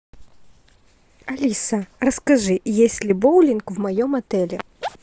алиса расскажи есть ли боулинг в моем отеле